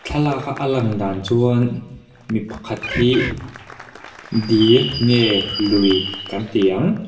thlalaka lang dan chuan mi pakhat hi dil nge lui kan ti ang.